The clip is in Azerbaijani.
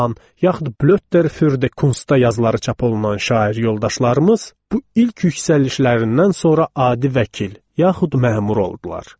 Pan, yaxud Blätter für die Kunstda yazıları çap olunan şair yoldaşlarımız bu ilk yüksəlişlərindən sonra adi vəkil, yaxud məmur oldular.